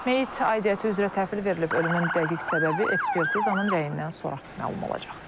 Meyit aidiyyatı üzrə təhvil verilib, ölümün dəqiq səbəbi ekspertizanın rəyindən sonra məlum olacaq.